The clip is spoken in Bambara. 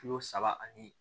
Kilo saba ani